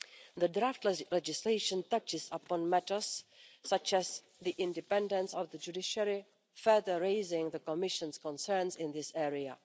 The draft legislation touches upon matters such as the independence of the judiciary, further raising the Commission's concerns in this area.